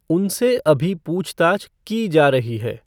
उनसे अभी पूछताछ की जा रही है।